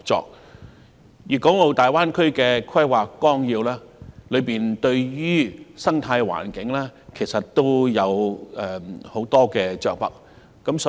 就此，《粵港澳大灣區發展規劃綱要》對於生態環境着墨不少。